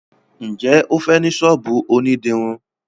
njé o fè ní sọ́ọ̀bù òní dirun.